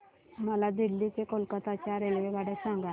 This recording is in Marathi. मला दिल्ली ते कोलकता च्या रेल्वेगाड्या सांगा